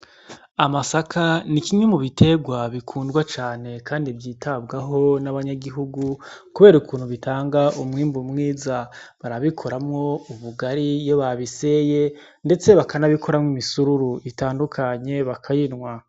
Amasaka nikimwe mubiterwa vyitabwaho n' abanyagihugu kuber'ukuntu bitanga umwimbu mwiza, barabikoramwo ubugari iyo babiseye ndetse bakanabikoramwo imisururu bakayinwa.